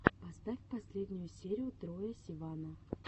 поставь последнюю серию троя сивана